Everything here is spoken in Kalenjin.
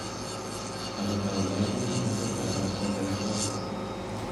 Ako taunekee minginatet ab lakwet ake tugul.